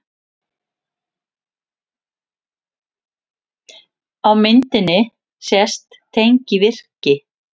Á myndinni sést tengivirki.